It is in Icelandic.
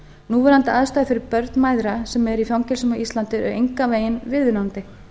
núverandi aðstæður fyrir börn mæðra sem eru í fangelsum á íslandi eru engan veginn viðunandi